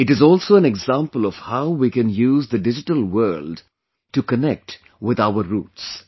It is also an example of how we can use the digital world to connect with our roots